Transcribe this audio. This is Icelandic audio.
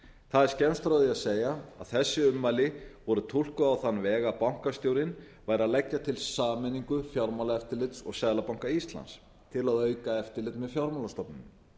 það er skemmst frá því að segja að þessi ummæli voru túlkuð á þann veg að bankastjórinn væri að leggja til sameiningu fjármálaeftirlits og seðlabanka íslands til að auka eftirlit með fjármálastofnunum